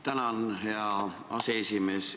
Tänan, hea aseesimees!